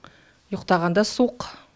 ұйықтағанда суық